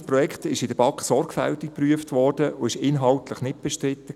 Das Projekt wurde von der BaK sorgfältig geprüft und war inhaltlich nicht bestritten.